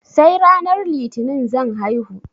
Sai ranar litinin zan haihu